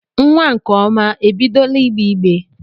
Nwa nkeọma e bidola igbeigbe?